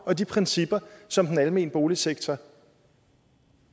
og de principper som den almene boligsektor